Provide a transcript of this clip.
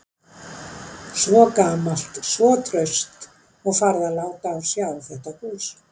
Svo gamalt, svo traust, og farið að láta á sjá þetta hús.